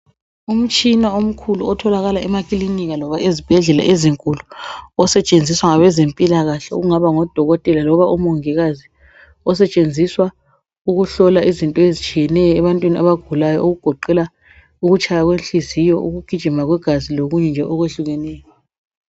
Umtshina omkhulu otholakala emakilinika loba ezibhedlela ezinkulu osetshenziswa ngabezempilakahle okungaba ngodokotela loba omongikazi osetshenziswa ukuhlola izinto ezitshiyeneyo ebantwini abagulayo okugoqela ukutshaya kwenhliziyo ukugijima kwegazi lokunye nje okwehlukeneyo.